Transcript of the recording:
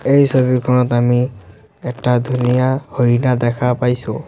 এই ছবিখনত আমি এটা ধুনীয়া হৰিণা দেখা পাইছোঁ।